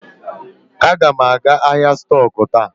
Aga m aga ahịa stọk taa.